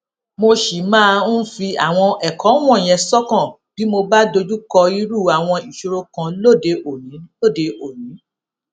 mo ṣì máa ń fi àwọn èkó wònyẹn sókàn bí mo bá dojú kọ irú àwọn ìṣòro kan lóde òní lóde òní